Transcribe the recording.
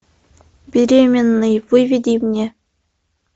беременный выведи мне